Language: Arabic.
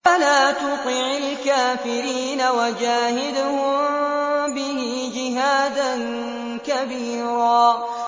فَلَا تُطِعِ الْكَافِرِينَ وَجَاهِدْهُم بِهِ جِهَادًا كَبِيرًا